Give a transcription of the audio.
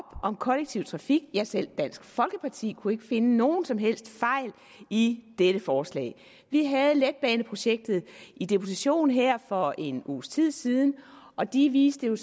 om kollektiv trafik ja selv dansk folkeparti kunne ikke finde nogen som helst fejl i dette forslag vi havde letbaneprojektgruppen i deputation her for en uges tid siden og de viste